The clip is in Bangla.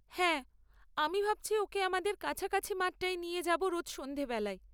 হ্যাঁ, আমি ভাবছি ওকে আমাদের কাছাকাছি মাঠটায় নিয়ে যাব রোজ সন্ধ্যাবেলায়।